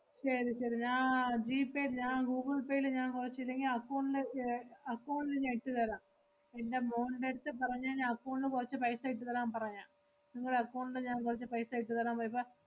ശെരി ശെരി ഞാ~ ജി പേ ഞാ~ ഗൂഗിൾ പേയില് ഞാ~ കൊറച്ച് ഇല്ലെങ്കി account ല് ഏർ account ല് ഞാ~ ഇട്ടു തരാം. എന്‍റെ മോൾടെ അടുത്ത് പറഞ്ഞാ ഞാ~ account ല് കൊറച്ച് paisa ഇട്ടുതരാമ്പറയാ. നിങ്ങളെ account ല് ഞാ~ കൊറച്ച് paisa ഇട്ടുതരാ~ പോയപ്പ